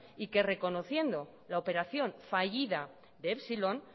y que reconociendo la operación fallida de epsilon